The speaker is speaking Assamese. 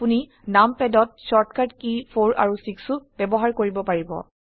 আপোনি numpadত শৰ্টকাট কী 4 আৰু 6 ও ব্যবহাৰ কৰিব পাৰিব